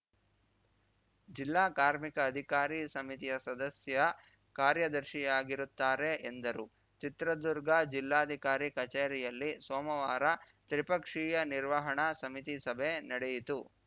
ಜಿಲ್ಲಾ ಕಾರ್ಮಿಕ ಅಧಿಕಾರಿ ಸಮಿತಿಯ ಸದಸ್ಯ ಕಾರ್ಯದರ್ಶಿಯಾಗಿರುತ್ತಾರೆ ಎಂದರು ಚಿತ್ರದುರ್ಗ ಜಿಲ್ಲಾಧಿಕಾರಿ ಕಚೇರಿಯಲ್ಲಿ ಸೋಮವಾರ ತ್ರಿಪಕ್ಷೀಯ ನಿರ್ವಹಣಾ ಸಮಿತಿ ಸಭೆ ನಡೆಯಿತು